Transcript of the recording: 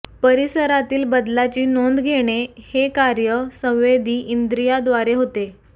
परिसरातील बदलाची नोंद घेणे हे कार्य संवेदी इंद्रियाद्वारे होते